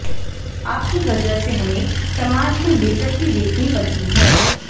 आपकी वजह से हमें समाज में बेज्जती देखनी पड़ती है